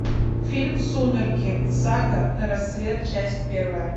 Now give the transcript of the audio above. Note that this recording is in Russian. фильм сумерки сага рассвет часть первая